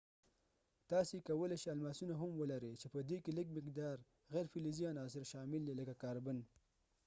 تاسي کولی شئ الماسونه هم ولرئ چې پدې کې لږ مقدار غیر فلزي عناصر شامل دي لکه کاربن